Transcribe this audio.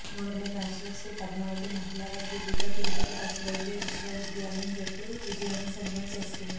మూడో మ్యాచ్లో శ్రీపద్మావతి మహిళా వర్సిటీపై తిరుపతి పశువైద్య విశ్వవిద్యాలయం జట్టు విజయాన్ని సొంతం చేసుకుంది